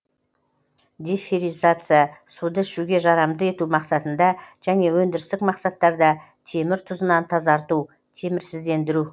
деферризация суды ішуге жарамды ету мақсатында және өндірістік мақсаттарда темір тұзынан тазарту темірсіздендіру